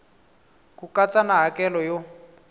ku katsa na hakelo yo